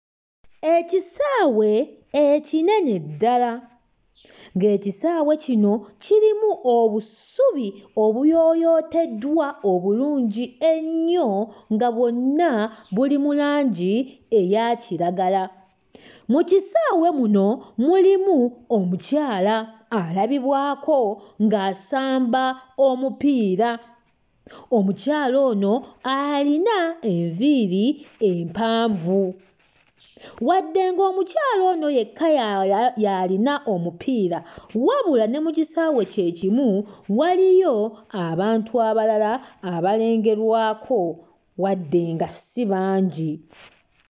Ekisaawe ekinene ddala. Ng'ekisaawe kino kirimu obusubi obuyooyooteddwa obulungi ennyo nga bwonna buli mu langi eya kiragala. Mu kisaawe muno mulimu omukyala alabibwako ng'asamba omupiira. Omukyala ono alina enviiri empanvu. Wadde ng'omukyala ono yekka y'alina omupiira, wabula ne mu kisaawe kye kimu, waliyo abantu abalala abalengerwako wadde nga si bangi.